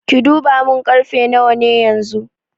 Ki duba mun karfe nawa ne yanxu?